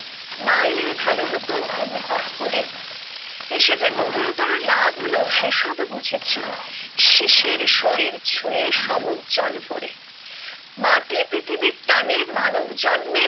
না এলে ভালো হতো অনুভব করে এসে যে গভীরতর লাভ হলো সে সব বুঝেছি শিশির শরীর ছুঁয়ে সমুখ জল ভরে মাটি পৃথিবীর টানে মানব জন্মে